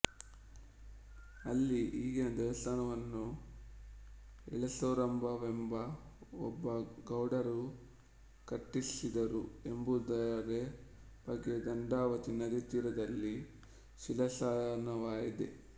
ಅಲ್ಲಿ ಈಗಿನ ದೇವಸ್ಥಾನವನ್ನು ಹಳೆಸೊರಬದ ಒಬ್ಬ ಗೌಡರು ಕಟ್ಟಿಸಿದರು ಎಂಬುವುದರ ಬಗ್ಗೆ ದಂಡಾವತಿ ನದಿತೀರದಲ್ಲಿ ಶಿಲಾಶಾಸನವಿದೆ